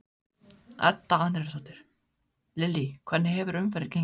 Edda Andrésdóttir: Lillý hvernig hefur umferðin gengið?